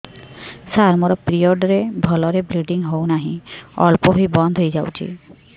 ସାର ମୋର ପିରିଅଡ଼ ରେ ଭଲରେ ବ୍ଲିଡ଼ିଙ୍ଗ ହଉନାହିଁ ଅଳ୍ପ ହୋଇ ବନ୍ଦ ହୋଇଯାଉଛି